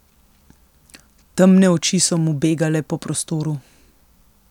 Temne oči so mu begale po prostoru.